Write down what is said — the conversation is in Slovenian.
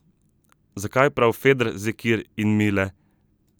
Zakaj prav Fedr, Zekir in Mile?